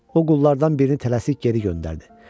O qullardan birini tələsik geri göndərdi.